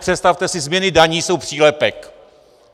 Představte si, změny daní jsou přílepek!